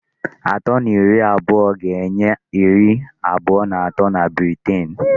Atọ na iri abụọga-enye iri abụọ na atọ na Britain.